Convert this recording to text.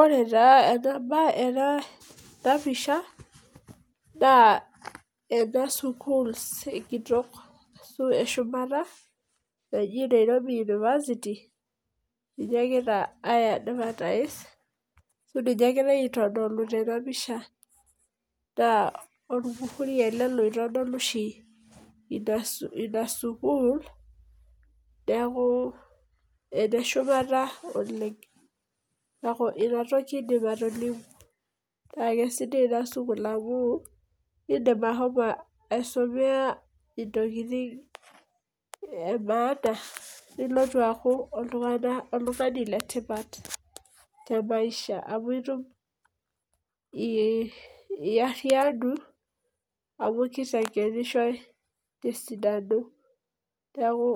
Ore ena pisha, naa ena sukuul kitoki ashu eshumata naji Nairobi university, ninye egira ai advertise ,ashu ninye egirae aitodolu tena pisha. naa olmuhuri ele outodolu oshi Ina sukuul. neeku ene shumata oleng. neeku Ina toki aidim atolimu. naa kisidai Ina sukuul amu eisumea ntokitin emaana. nilptu aaku oltungani letipat te maisha. amu iyariyianu, amu kitengenishoi te sidano. neeku